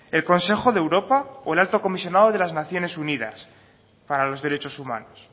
el consejo de europa o el alto comisionado de las naciones unidas para los derechos humanos